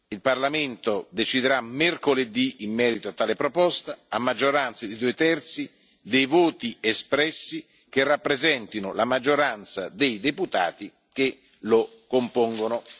Il Parlamento deciderà mercoledì in merito a tale proposta, a maggioranza di due terzi dei voti espressi, che rappresentino la maggioranza dei deputati che lo compongono.